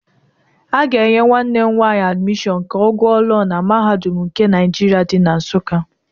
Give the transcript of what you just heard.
A ga-enye nwanne m nwaanyị admishọn ka ọ gụọ Lọọ na Mahadum nke Naijirịa di na Nsụka.